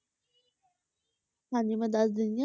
ਹਾਂਜੀ ਮੈਂ ਦੱਸ ਦਿੰਦੀ ਹਾਂ,